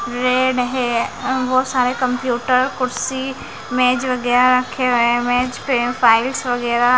वे नहीं वो सारे कंप्यूटर कुर्सी मेज वगैरह रखे हुए हैं मेज पे फाइल्स वगैरह--